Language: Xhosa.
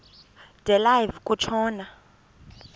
de live kutshona